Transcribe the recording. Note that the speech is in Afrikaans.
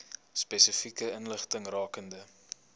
spesifieke inligting rakende